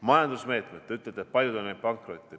Majandusmeetmed – te ütlete, et paljud on läinud pankrotti.